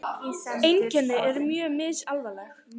Einkenni eru mjög misalvarleg.